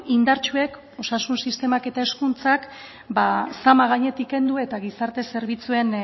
indartsuek osasun sistemak eta hezkuntzak zama gainetik kendu eta gizarte zerbitzuen